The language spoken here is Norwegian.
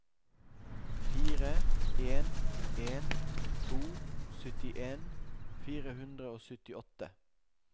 fire en en to syttien fire hundre og syttiåtte